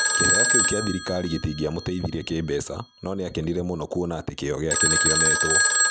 Kĩheo kĩu kĩa thirikari gĩtingĩamũteithirie kĩĩmbeca, no nĩ aakenire mũno kuona atĩ kĩyo gĩake nĩ kĩonetwo.